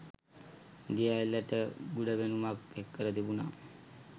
දිය ඇල්ලට ගුඪ පෙනුමක් එක්කර තිබුණා